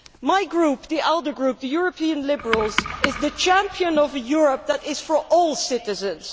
My group, the ALDE Group the European Liberals is the champion of a Europe that is for all citizens.